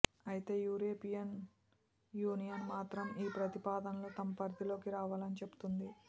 అయితే European Union మాత్రం ఈ ప్రతిపాదనలు తమ పరిధిలోకి రావని చెబుతోంది